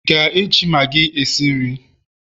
ị ga-eji maggi esi nri?